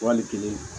Wali kelen